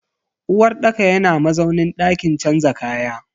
uwarɗaka yana mazaunin dakin canza kaya.